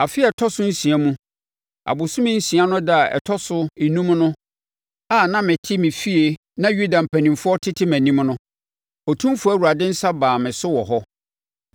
Afe a ɛtɔ so nsia mu, abosome nsia no ɛda a ɛtɔ so enum a na mete me fie na Yuda mpanimfoɔ tete mʼanim no, Otumfoɔ Awurade nsa baa me so wɔ hɔ.